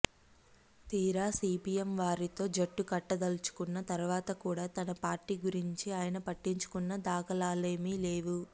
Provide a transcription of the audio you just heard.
తీరా సీపీఎం వారితో జట్టుకట్టదలచుకున్న తర్వాత కూడా తన పార్టీ గురించి ఆయన పట్టించుకున్న దాఖలాలేమీ లేవు